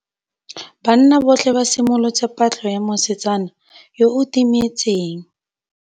Banna botlhê ba simolotse patlô ya mosetsana yo o timetseng.